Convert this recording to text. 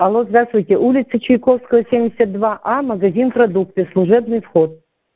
алло здравствуйте улица чайковского семьдесят два а магазин продукты служебный вход